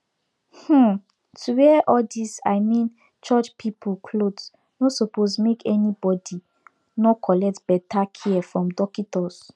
um to wear all these i mean church people cloth nor suppose make any body nor collect beta care from dockitos